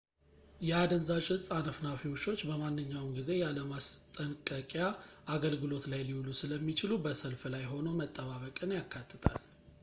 የአደንዛዥ እፅ አነፍናፊ ውሾች በማንኛውም ጊዜ ያለ ማስጠንቅያ አገልግሎት ላይ ሊውሉ ስለሚችሉ በሰልፍ ላይ ሆኖ መጠባበቅን ያካትታል